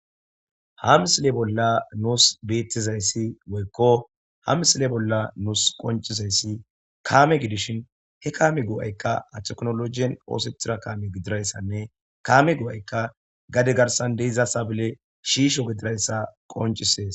Ha misile bola nus betizayisi woyikko ha misile bola nusi qonicizayisi kameza gidishin he kame goayikka ha tekinolojiyani osetiza kame gididayissa kame goayikka gade garisani deiza sabile shisho getetizayis qoncisesi